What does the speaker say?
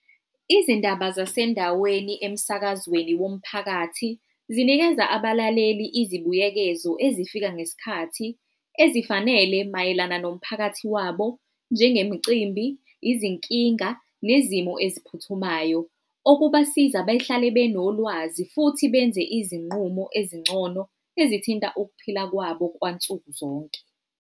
Izindaba zasendaweni emsakazweni womphakathi zinikeza abalaleli izibuyekezo ezifika ngesikhathi ezifanele mayelana nomphakathi wabo njengemicimbi, izinkinga, nezimo eyiphuthumayo. Okubasiza behlale benolwazi futhi benze izinqumo ezingcono ezithinta ukuphila kwabo kwansukuzonke.